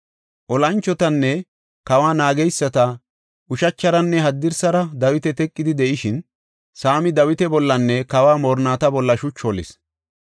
Olanchotinne kawa naageysati ushacharanne haddirsara Dawita teqidi de7ishin, Saami Dawita bollanne kawa moorinnata bolla shuchu holis.